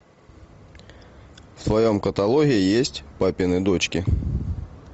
в твоем каталоге есть папины дочки